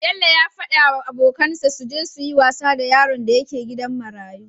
Bello yafada wa abokan sa suje suyi wasa da yaron da ke gidan marayu